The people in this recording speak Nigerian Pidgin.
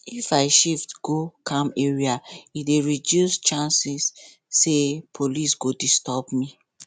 if i shift go calm area e dey reduce chance say police go disturb me